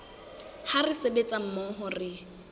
ha re sebetsa mmoho re